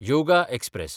yoga express